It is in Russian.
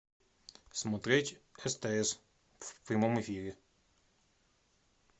смотреть стс в прямом эфире